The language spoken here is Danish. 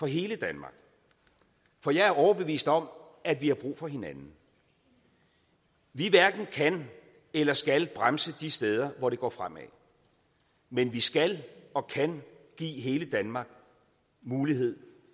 hele danmark for jeg er overbevist om at vi har brug for hinanden vi hverken kan eller skal bremse de steder hvor det går fremad men vi skal og kan give hele danmark mulighed